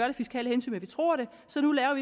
af fiskale hensyn men vi tror det så nu laver